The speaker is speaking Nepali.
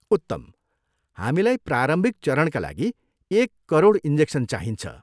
उत्तम। हामीलाई प्रारम्भिक चरणका लागि एक करोड इन्जेक्सन चाहिन्छ।